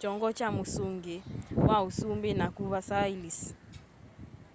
kyongo kya mũsungĩ wa ũsũmbĩ nakũ versailles